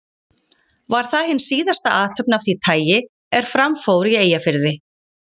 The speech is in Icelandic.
Var það hin síðasta athöfn af því tagi, er fram fór í Eyjafirði.